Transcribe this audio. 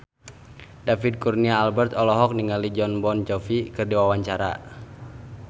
David Kurnia Albert olohok ningali Jon Bon Jovi keur diwawancara